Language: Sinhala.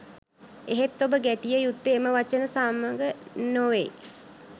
එහෙත් ඔබ ගැටියෙ යුත්තේ එම වචන සම්ග නොවෙයි